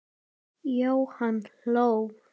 Jóhann hló.